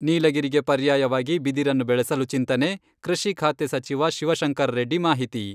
ನೀಲಗಿರಿಗೆ ಪರ್ಯಾಯವಾಗಿ ಬಿದಿರನ್ನು ಬೆಳೆಸಲು ಚಿಂತನೆ, ಕೃಷಿ ಖಾತೆ ಸಚಿವ ಶಿವಶಂಕರರೆಡ್ಡಿ ಮಾಹಿತಿ.